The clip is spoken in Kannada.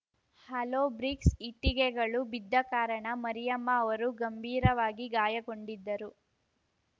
ಹಾಲೋ ಬ್ರಿಕ್ಸ್‌ ಇಟ್ಟಿಗೆಗಳು ಬಿದ್ದ ಕಾರಣ ಮರಿಯಮ್ಮ ಅವರು ಗಂಭೀರವಾಗಿ ಗಾಯಗೊಂಡಿದ್ದರು